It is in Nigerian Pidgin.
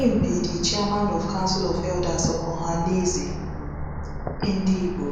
im be di chairman of council of elders of ohanaeze ndigbo